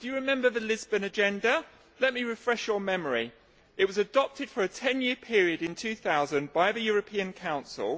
Do you remember the Lisbon Agenda? Let me refresh your memory. It was adopted for a ten year period in 2000 by the European Council.